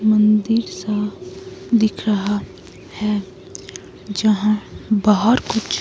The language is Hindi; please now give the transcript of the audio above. मंदिर सा दिख रहा है जहां बाहर कुछ--